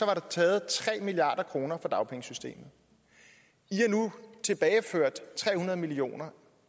var der taget tre milliard kroner fra dagpengesystemet i har nu tilbageført tre hundrede million kr